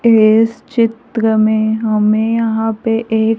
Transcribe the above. इस चित्र में हमें यहां पे एक--